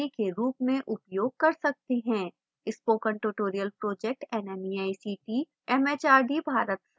spoken tutorial project nmeict mhrd Bharat सरकार द्वारा वित्त पोषित है